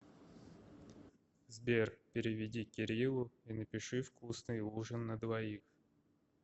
сбер переведи кириллу и напиши вкусный ужин на двоих